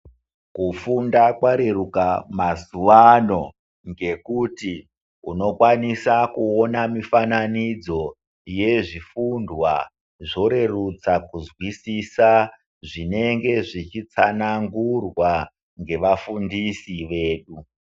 Kufunda kwareruka mazuwano ngekuti unokwanisa kuona mufananidzo yezvifundwa zvorerutsa kunzwisisa zvinenge zvichitsanangurwa ngevafundisi vedu.